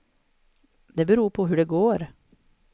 Det beror på hur det går.